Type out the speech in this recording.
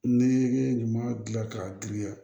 Ne ye ɲuman gilan k'a giriya